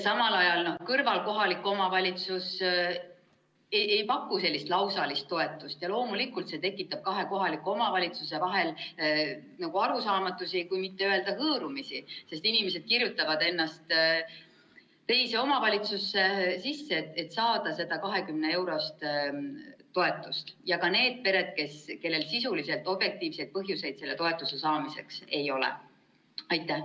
Samal ajal kõrvalasuv kohalik omavalitsus ei paku sellist lausalist toetust ja loomulikult see tekitab kahe kohaliku omavalitsuse vahel arusaamatusi, kui mitte öelda hõõrumisi, sest inimesed kirjutavad ennast teise omavalitsusse sisse, et saada seda 20-eurost toetust ja ka need pered, kellel sisuliselt objektiivseid põhjuseid selle toetuse saamiseks ei ole.